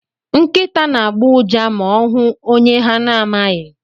Nkịta na-agbọ ụja ma ọ hụ onye ha na-amaghị.